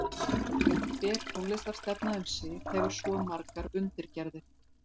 Hver tónlistarstefna um sig hefur svo margar undirgerðir.